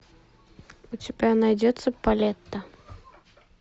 у тебя найдется палетта